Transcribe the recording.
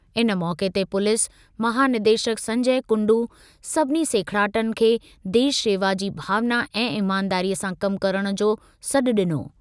इन मौक़े ते पुलिस महानिदेशक संजय कुंडू सभिनी सेखिड़ाटनि खे देश शेवा जी भावना ऐं ईमानदारीअ सां कम करणु जो सॾु ॾिनो।